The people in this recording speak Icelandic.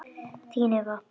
Þín Eva.